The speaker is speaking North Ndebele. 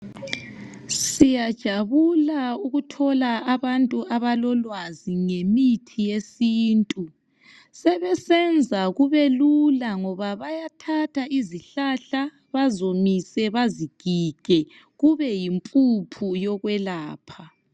Siyajabula ukuthola abantu abalolwazi ngemithi yesintu sebesenza kubelula ngoba bayathatha izihlahla baziwomise bazigige kube yimpuphu yokwelapha